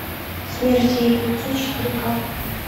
смерть ей к лицу четыре ка